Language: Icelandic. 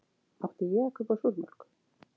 Átti ég að kaupa súrmjólk?